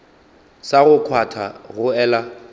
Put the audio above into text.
sa go kgwatha go ela